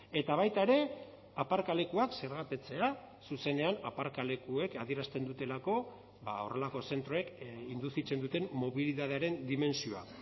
eta baita ere aparkalekuak zergapetzea zuzenean aparkalekuek adierazten dutelako horrelako zentroek induzitzen duten mobilitatearen dimentsioa